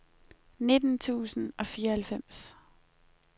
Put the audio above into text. nitten tusind og fireoghalvfems